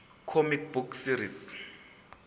comic book series